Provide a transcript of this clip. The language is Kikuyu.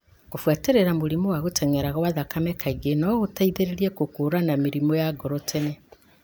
Kũbuatĩrĩria mũrimũ wa gũtenyera gwa thakame kaingĩ no gũteithie gũkũũrana mĩrimũ ya ngoro tene.